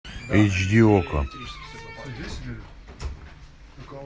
эйч ди окко